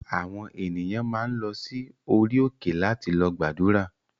Àwọn ènìyàn máa ń lọ sí orí òkè láti lọ gbàdúrà